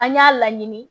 An y'a laɲini